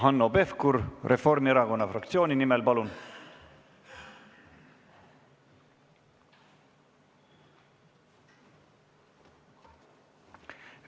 Hanno Pevkur Reformierakonna fraktsiooni nimel, palun!